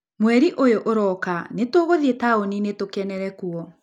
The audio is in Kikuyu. Mweri ũyũ ũroka nĩ tũgũthiĩ taũni-inĩ tũkenere kuo.